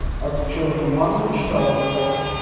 а ты что уже мангу читал или как